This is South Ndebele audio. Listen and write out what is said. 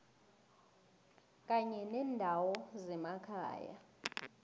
kanye nendawo zemakhaya